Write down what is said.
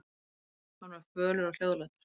Hann var fölur og hljóðlátur.